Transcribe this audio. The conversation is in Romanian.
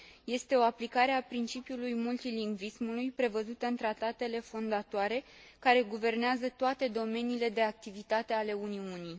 Este o aplicare a principiului multilingvismului prevăzută în tratatele fondatoare care guvernează toate domeniile de activitate ale Uniunii.